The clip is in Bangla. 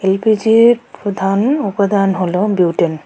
এলপিজির প্রধান উপাদান হলো বিউটেন .